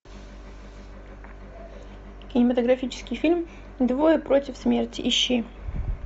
кинематографический фильм двое против смерти ищи